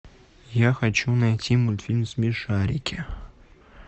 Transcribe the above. я хочу найти мультфильм смешарики